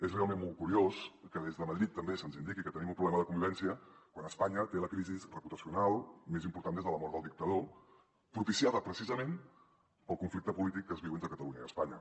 és realment molt curiós que des de madrid també se’ns indiqui que tenim un problema de convivència quan espanya té la crisi reputacional més important des de la mort del dictador propiciada precisament pel conflicte polític que es viu entre catalunya i espanya